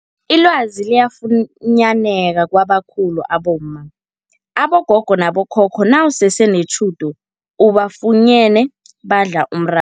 Ilwazi liyafunyaneka kwabakhulu abomma, abogogo nabo khokho nawusese netjhudu ubafunyene badla umra